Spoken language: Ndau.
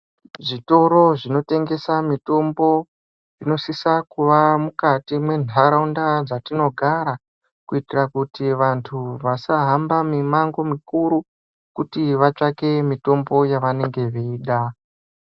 Zvitoro zvinotengesa mitombo zvinosisa kuva mukati mwenharaunda dzatinogara kuitira kuti vanhu vasahambe mimango mikuru kuti vatsvake mitombo yavenge veida.